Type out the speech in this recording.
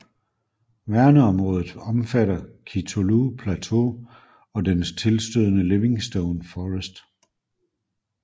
Værneområdet omfatter Kitulo Plateau og den tilstødende Livingstone Forest